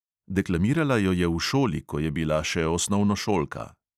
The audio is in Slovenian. Deklamirala jo je v šoli, ko je bila še osnovnošolka.